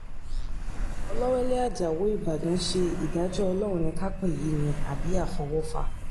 ọlọ́wẹ́lẹ́ ajáò ìbàdàn ṣe ìdájọ́ ọlọ́run ni ká pe èyí ni àbí àfọwọ́fà